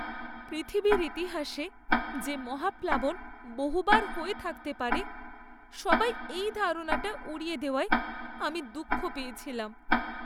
পৃথিবীর ইতিহাসে যে মহাপ্লাবন বহুবার হয়ে থাকতে পারে, সবাই এই ধারণাটা উড়িয়ে দেওয়ায় আমি দুঃখ পেয়েছিলাম।